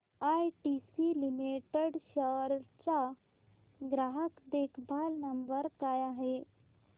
ITC limited India चा ग्राहक देखभाल नंबर काय आहे